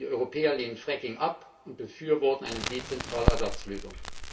Die Europäer lehnen Fracking ab und befürworten eine dezentrale Ersatzlösung.